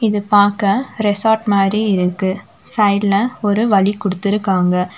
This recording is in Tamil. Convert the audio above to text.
இது பாக்க ரெசார்ட் மாரி இருக்கு சைட்ல ஒரு வழி குடுத்திருக்காங்க.